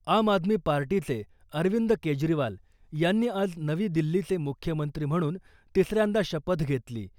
आम आदमी पार्टीचे अरविंद केजरीवाल यांनी आज नवी दिल्लीचे मुख्यमंत्री म्हणून तिसऱ्यांदा शपथ घेतली .